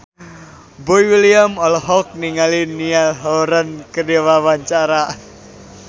Boy William olohok ningali Niall Horran keur diwawancara